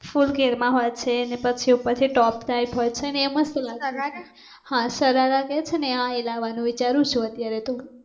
Full ઘેર મા હોય છે ને પછી ઉપરથી ટોપ ટાઇપ હોય છે ને એ મસ્ત લાગે સરારા? હા સરારા કહે છે ને એ હા એ લાવવાનુ વિચારૂ છુ અત્યારે તો